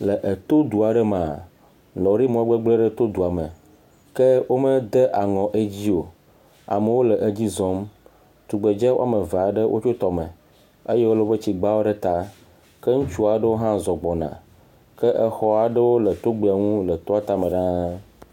Le eto du aɖe mea, lɔri me gbegblẽ aɖe to dua me ke womede aŋɔ edi o. Amewo le edzi zɔm. Tugbedze ame eve aɖewo tso tɔme eye wole woƒe tsigbawo ɖe ta ke ŋutsu aɖewo hã zɔ gbɔna ke xɔ aɖewo le togbea ŋu le toa tame ɖaa.